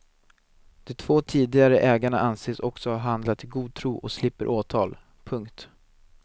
De två tidigare ägarna anses också ha handlat i god tro och slipper åtal. punkt